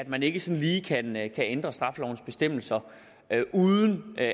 man ikke sådan lige kan ændre straffelovens bestemmelser uden at